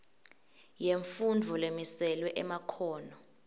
yemfundvo lemiselwe emakhono